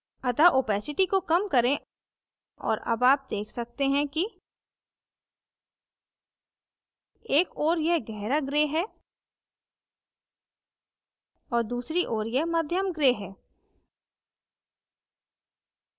अतः opacity को कम करें और अब आप देख सकते हैं कि एक ओर यह गहरा gray है और दूसरी ओर यह मध्यम gray है